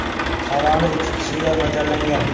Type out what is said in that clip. Saloni ikki kishiga mo‘ljallangan.